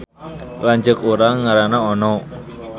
Lanceuk urang ngaranna Ono